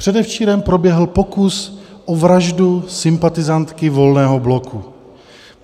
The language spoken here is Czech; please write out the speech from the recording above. Předevčírem proběhl pokus o vraždu sympatizantky Volného bloku.